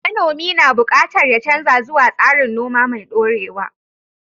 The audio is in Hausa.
Manomi na buƙatar ya canza zuwa tsarin noma mai dorewa.